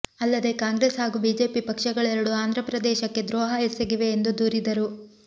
ಅಲ್ಲದೇ ಕಾಂಗ್ರೆಸ್ ಹಾಗೂ ಬಿಜೆಪಿ ಪಕ್ಷಗಳೆರಡು ಆಂಧ್ರಪ್ರದೇಶಕ್ಕೆ ದ್ರೋಹ ಎಸಗಿವೆ ಎಂದು ದೂರಿದರು